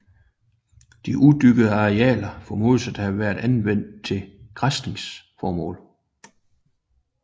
De udyrkede arealer formodes at have været anvendt til græsningsformål